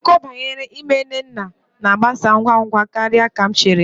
Akụkọ banyere ime nnenna na-agbasa ngwa ngwa karịa ka m chere